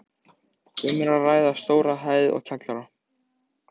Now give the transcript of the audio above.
Um er að ræða stóra hæð og kjallara.